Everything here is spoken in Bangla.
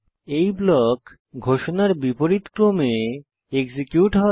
এই ব্লক ঘোষণার বিপরীত ক্রমে এক্সিকিউট হবে